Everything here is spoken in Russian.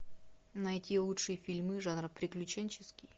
найти лучшие фильмы жанра приключенческий